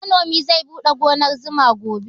Manomin zai buɗe gonar zuma gobe